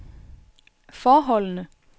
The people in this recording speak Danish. forholdene